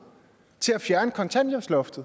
kontanthjælpsloft